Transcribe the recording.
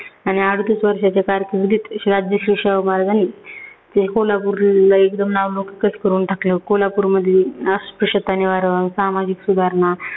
आणि अडोतीस वर्षाच्या कारकिर्दीत राजर्षी शाहू महाराजांनी ते कोल्हापूरला एकदम नावलौकिकच करुन टाकलं. कोल्हापूरमधली अस्पृश्यता निवारण, सामाजिक सुधारणा